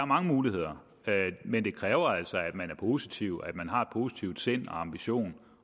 mange muligheder men det kræver altså at man er positiv og at man har et positivt sind og ambitioner